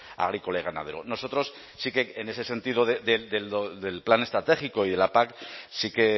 agrícola y ganadero nosotros sí que en ese sentido del plan estratégico y de la pac sí que